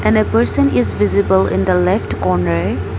And a person is visible in the left corner.